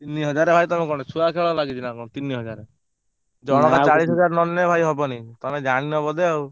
ତିନିହାଜରେ ଭାଇ ତମେ କଣ ଛୁଆଖେଳ ଲାଗିଛିନା କଣ? ତିନିହାଜରେ ଜଣକା ଚାଲିଶହଜାରେ ନନେଲେ ଭାଇ ହବନି ତମେ ଜାଣିନ ବୋଧେ ଆଉ।